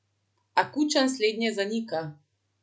A Kučan slednje zanika.